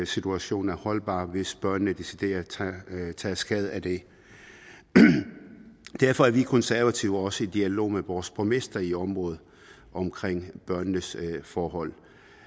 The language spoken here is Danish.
situationen er holdbar hvis børnene decideret tager skade af det derfor er vi konservative også i dialog med vores borgmester i området omkring børnenes forhold